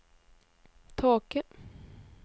tåke